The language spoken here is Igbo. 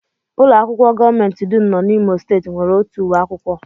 Ụlọakwụkwọ gọọmenti dum nọ n'Imo steeti nwere otu uwe akwụkwọ